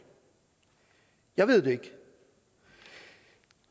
jeg ved det ikke